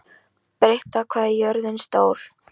Til þessa varði hann miklum peningum.